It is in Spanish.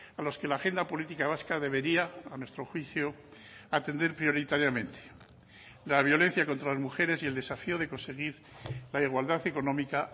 a los que la agenda política vasca debería a nuestro juicio atender prioritariamente la violencia contra las mujeres y el desafío de conseguir la igualdad económica